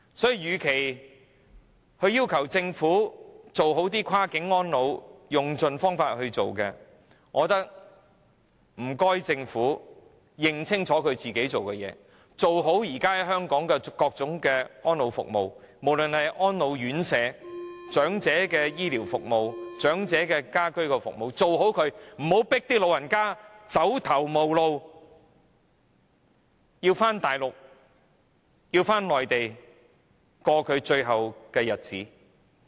所以，與其要求政府用盡方法做好跨境安老，我覺得反而應請政府認清楚自己做的事情，做好現時香港的各種安老服務，無論是長者的安老院舍、醫療服務、家居服務等，不要迫長者走頭無路，要返回內地度過最後的日子。